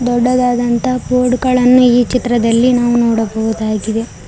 ದೊಡ್ಡದಾದಂತ ಬೋರ್ಡ್ ಗಳನ್ನು ಈ ಚಿತ್ರದಲ್ಲಿ ನಾವು ನೋಡಬಹುದಾಗಿದೆ.